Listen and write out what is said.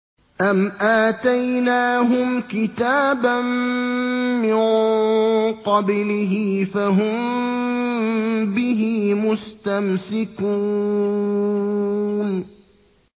أَمْ آتَيْنَاهُمْ كِتَابًا مِّن قَبْلِهِ فَهُم بِهِ مُسْتَمْسِكُونَ